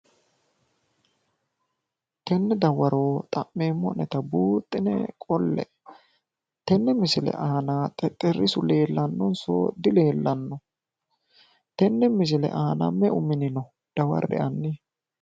Tene dawaro xa'meemmo'neta buuxine qolle'e, tenne misile aana xexxerisu leellanonso dileellanno? Tenne misile aana hanni meu mini no dawarre'e hanni.